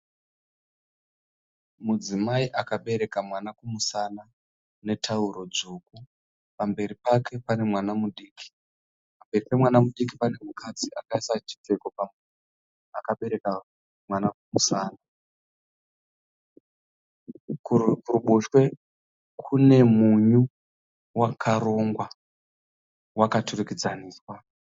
Mudzimai akabereka mwana kumusana netauro dzvuku. Pamberi pake pane mwana mudiki. Pamberi pemwana mudiki pane mukadzi akaisa chipfeko pamuromo akabereka mwana kumusana. Kuruboshwe kune munyu wakarongwa wakaturikidzaniswa.